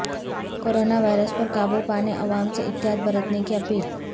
corona virus پر قابو پانے عوام سے احتیاط برتنے کی اپیل